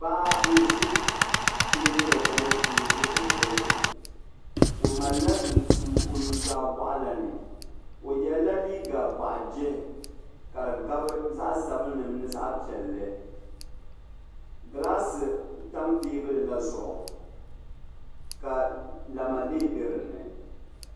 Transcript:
paɣa n n ʒi teebuli gbini ni o di bindirigu o malila nuso o nuzaa boɣu lani o yela liiga boɣu jihi ka di gabi zaɣa sabinli mini zaɣa piɛlli gilaasi tam teebuli la zuɣu ka lamalee be dinni.